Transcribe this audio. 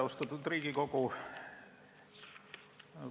Austatud Riigikogu!